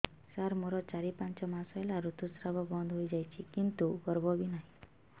ସାର ମୋର ଚାରି ପାଞ୍ଚ ମାସ ହେଲା ଋତୁସ୍ରାବ ବନ୍ଦ ହେଇଯାଇଛି କିନ୍ତୁ ଗର୍ଭ ବି ନାହିଁ